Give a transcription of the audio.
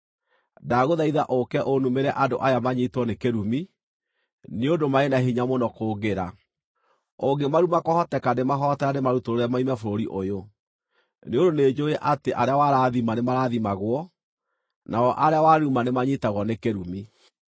Ndagũthaitha ũka ũnumĩre andũ aya manyiitwo nĩ kĩrumi, nĩ ũndũ marĩ na hinya mũno kũngĩra. Ũngĩmaruma kwahoteka ndĩmahoote na ndĩmarutũrũre moime bũrũri ũyũ. Nĩ ũndũ nĩnjũũĩ atĩ arĩa warathima nĩmarathimagwo, nao arĩa waruma nĩ manyiitagwo nĩ kĩrumi.”